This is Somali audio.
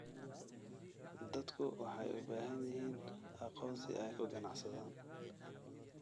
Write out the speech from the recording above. Dadku waxay u baahan yihiin aqoonsi ay ku ganacsadaan.